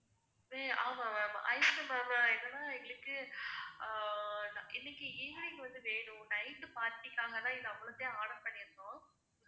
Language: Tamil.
இது ஆமா ma'am எங்களுக்கு ஆஹ் இன்னிக்கி evening வந்து வேணும் night party காக தான் இது அவ்வளதையும் order பண்ணிருந்தோம்.